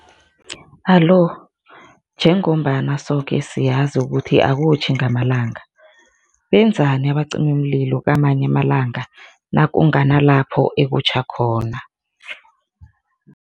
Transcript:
Alo, jengombana soke siyazi ukuthi akutjhi ngamalanga, benzani abacimimlilo kamanye amalanga nakunganalapho ekutjha khona?